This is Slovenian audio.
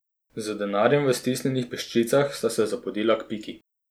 Z denarjem v stisnjenih peščicah sta se zapodila k Piki.